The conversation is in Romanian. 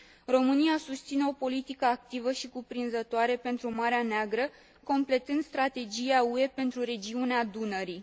România susține o politică activă și cuprinzătoare pentru Marea Neagră, completând strategia UE pentru regiunea Dunării.